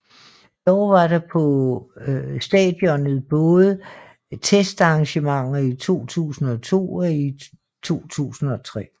Dog var der på stadionet både testarrangementer i 2002 og i 2003